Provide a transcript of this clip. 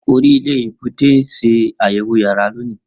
Ori ile ibugbe n ṣe ayẹwo yàrá loni.